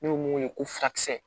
N'o ye mun ye ko furakisɛ